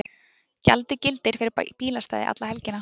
Gjaldið gildir fyrir bílastæði alla helgina